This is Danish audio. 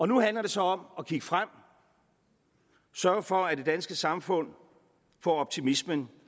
nu handler det så om at kigge frem og sørge for at det danske samfund får optimismen